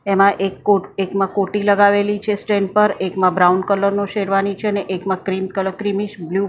એમાં એક કોટ એકમાં કોટી લગાવેલી છે સ્ટેન્ડ પર એકમાં બ્રાઉન કલર નો શેરવાની છે અને એકમાં ક્રીમ કલ ક્રીમીશ બ્લુ --